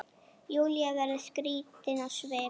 Júlía verður skrítin á svip.